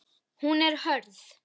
Hún er hörð.